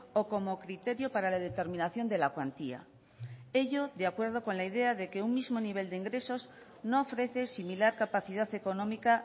o como criterio para la determinación de la cuantía ello de acuerdo con la idea de que un mismo nivel de ingresos no ofrece similar capacidad económica